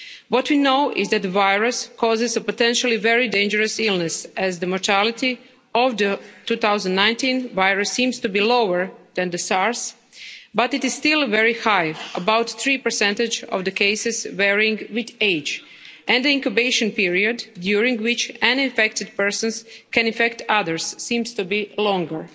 What we know is that the virus causes a potentially very dangerous illness, as the mortality rate of the 2019 virus seems to be lower than the SARS, but it is still very high about 3 percentage of the cases, varying with age, and the incubation period during which any infected persons can infect others seems to be longer.